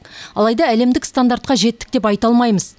алайда әлемдік стандартқа жеттік деп айта алмаймыз